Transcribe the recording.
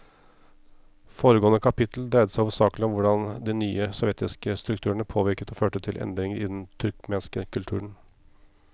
Foregående kapittel dreide seg hovedsakelig om hvordan de nye sovjetiske strukturene påvirket og førte til endringer i den turkmenske kulturen.